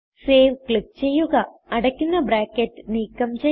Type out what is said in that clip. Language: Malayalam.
സേവ് ക്ലിക്ക് ചെയ്യുക അടയ്ക്കുന്ന ബ്രാക്കറ്റ് നീക്കം ചെയ്യാം